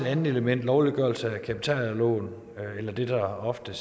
andet element lovliggørelse af kapitalejerlån eller det der ofte